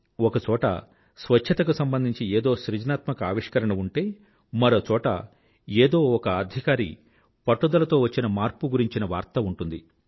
ఒక చోట స్వచ్ఛతకు సంబంధించి ఏదో సృజనాత్మక ఆవిష్కరణ ఉంటే మరో చోట ఏదో ఒక అధికారి పట్టుదలతో వచ్చిన మార్పు గురించిన వార్త ఉంటుంది